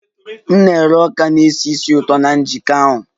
M na-ere ọka a na-esi ísì ụtọ na njikọ ahụ